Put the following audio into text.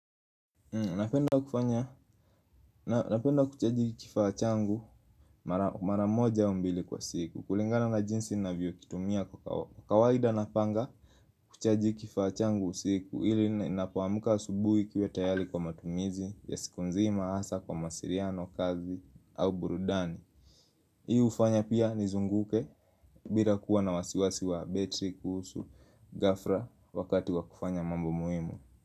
Napenda kuchaji kifaa changu mara moja au mbili kwa siku kulingana na jinsi ninavyokitumia kwa kawaida na panga kuchaji kifaa changu usiku ili ninapoamka asubuhi kiwe tayali kwa matumizi, ya siku nzima, hasa, kwa masiriano, kazi, au burudani Hii ufanya pia nizunguke, bila kuwa na wasiwasi wa betri kuhusu, gafra, wakati kwa kufanya mambo muhimu.